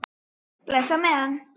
Bless á meðan.